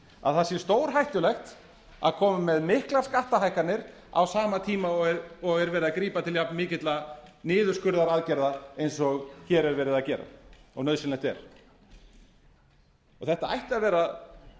að það sé stórhættulegt að koma með miklar skattahækkanir á sama tíma og er verið að grípa til jafn mikilla niðurskurðaraðgerða eins og hér er verið að gera og nauðsynlegt er þetta ætti að vera